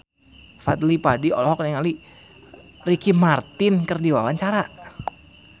Fadly Padi olohok ningali Ricky Martin keur diwawancara